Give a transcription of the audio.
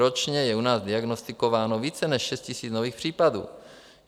Ročně je u nás diagnostikováno více než 6 000 nových případů.